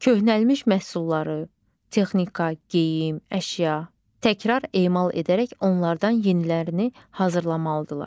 Köhnəlmiş məhsulları, texnika, geyim, əşya, təkrar emal edərək onlardan yenilərini hazırlamalıdırlar.